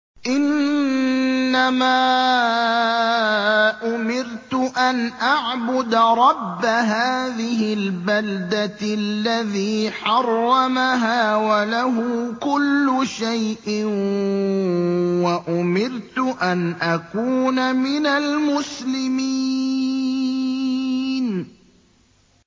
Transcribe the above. إِنَّمَا أُمِرْتُ أَنْ أَعْبُدَ رَبَّ هَٰذِهِ الْبَلْدَةِ الَّذِي حَرَّمَهَا وَلَهُ كُلُّ شَيْءٍ ۖ وَأُمِرْتُ أَنْ أَكُونَ مِنَ الْمُسْلِمِينَ